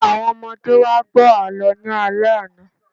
Àwọn ọmọdé wá gbọ́ àlọ́ ní alẹ́ àná